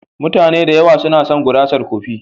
Mutane da yawa suna son gurasar kofi.